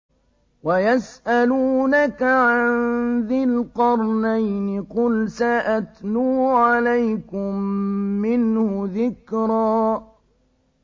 وَيَسْأَلُونَكَ عَن ذِي الْقَرْنَيْنِ ۖ قُلْ سَأَتْلُو عَلَيْكُم مِّنْهُ ذِكْرًا